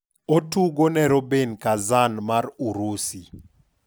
otugo ne Rubin Kazan mar Urusi.